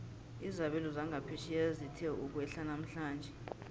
izabelo zangaphetjheya zithe ukwehla namhlanje